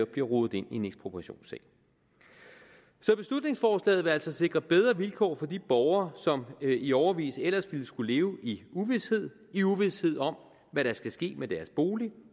bliver rodet ind i en ekspropriationssag så beslutningsforslaget vil altså sikre bedre vilkår for de borgere som i årevis ellers ville skulle leve i uvished i uvished om hvad der skal ske med deres bolig